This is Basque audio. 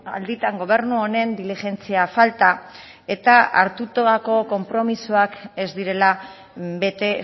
alditan gobernu honen diligentzia falta eta hartutako konpromisoak ez direla bete